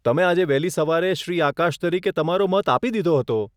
તમે આજે વહેલી સવારે શ્રી આકાશ તરીકે તમારો મત આપી દીધો હતો.